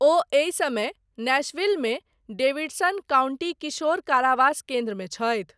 ओ एहि समय नैशविलमे डेविडसन काउंटी किशोर कारावास केन्द्रमे छथि।